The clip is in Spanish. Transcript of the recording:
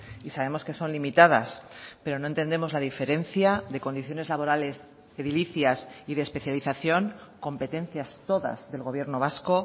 y sabemos que son limitadas pero no entendemos la diferencia de condiciones laborales edilicias y de especialización competencias todas del gobierno vasco